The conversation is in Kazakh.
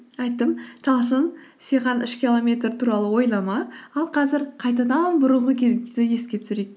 айттым талшын үш километр туралы ойлама ал қазір қайтадан бұрынғы кезді еске түсірейік